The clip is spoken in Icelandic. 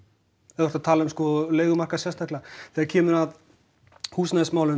ef þú ert að tala um leigumarkað sérstaklega þegar kemur að húsnæðismálum